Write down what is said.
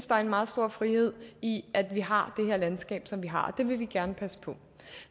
der er meget stor frihed i at vi har det her landskab som vi har det vil vi gerne passe på